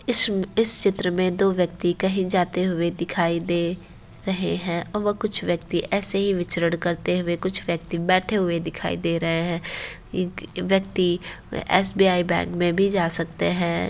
इस व इस चित्र मे दो व्यक्ति कहीं जाते हुए दिखाई दे रहे हैं। व कुछ व्यक्ति ऐसे ही विचरण करते हुए कुछ व्यक्ति बैठे हुए दिखाई दे रहे हैं। व्यक्ति एसबीआई बैंक मे भी जा सकते हैं।